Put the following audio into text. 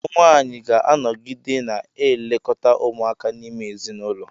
Ụmụ nwaanyị ga-anọgide na-elekọta ụmụaka n'ime ezinụlọ.